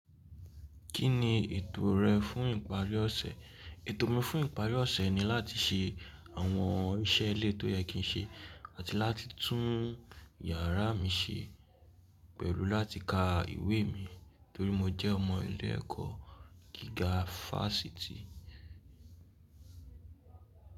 Kí ni ètò rẹ fún ìparí ọ̀sẹ̀? Ètò mi fún ìparí ọ̀sẹ̀ ni láti ṣe àwọn iṣẹ́ ilé tó yẹ kí n ṣe àti láti tún iyàrá mi ṣe pẹ̀lú láti ka ìwé mi torí mo jẹ́ ọmọ ilé ẹ̀kọ́ gíga Fásitì.